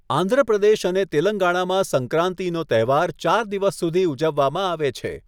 આંધ્રપ્રદેશ અને તેલંગાણામાં સંક્રાંતિનો તહેવાર ચાર દિવસ સુધી ઉજવવામાં આવે છે.